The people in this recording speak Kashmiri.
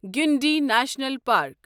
Guindy national park